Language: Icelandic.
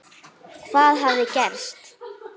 Hvað hafði gerst?